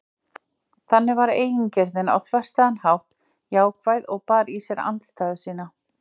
Þannig var eigingirnin á þverstæðan hátt jákvæð og bar í sér andstæðu sína.